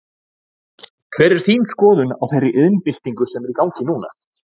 Hver er þín skoðun á þeirri iðnbyltingu sem er í gangi núna?